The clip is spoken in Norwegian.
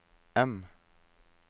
M